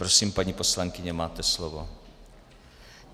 Prosím, paní poslankyně, máte slovo.